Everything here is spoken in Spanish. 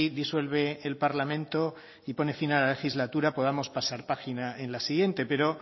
disuelve el parlamento y pone fin a la legislatura podamos pasar página en la siguiente pero